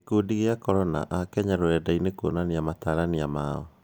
Gĩkungi kĩa corona; AKenya rũrendaini kwonania matarania mao